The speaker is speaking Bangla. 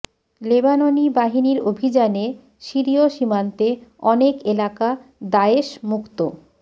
লেবাননি বাহিনীর অভিযানে সিরিয় সীমান্তে অনেক এলাকা দায়েশ মুক্ত